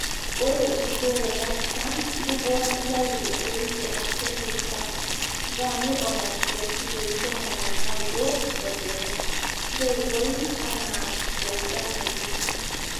ore enkibooroto empusha, ntukuo nintayu enterit te actellic super(grami onom te olkilioi ntomoni naudo tolbeme, ntoipoi anaa te ilganayio